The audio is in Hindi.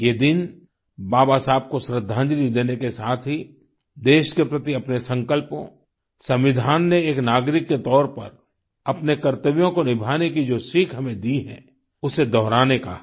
ये दिन बाबा साहब को श्रद्धांजलि देने के साथ ही देश के प्रति अपने संकल्पों संविधान ने एक नागरिक के तौर पर अपने कर्तव्य को निभाने की जो सीख हमें दी है उसे दोहराने का है